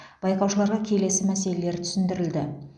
байқаушыларға келесі мәселелер түсіндірілді